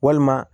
Walima